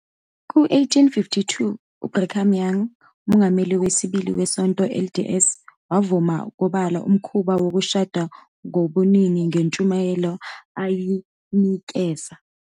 Ku-1852, uBrigham Young, umongameli wesibili weSonto LDS, wavuma obala umkhuba wokushada ngobuningi ngentshumayelo ayinikeza.